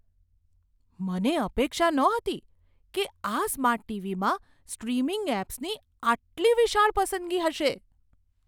મને અપેક્ષા નહોતી કે આ સ્માર્ટ ટીવીમાં સ્ટ્રીમિંગ એપ્સની આટલી વિશાળ પસંદગી હશે!